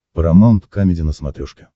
парамаунт камеди на смотрешке